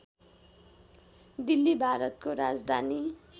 दिल्ली भारतको राजधानी